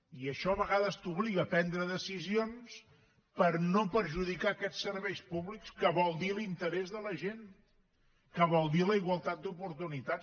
i això a vegades t’obliga a prendre decisions per no perjudicar aquests serveis públics que vol dir l’interès de la gent que vol dir la igualtat d’oportunitats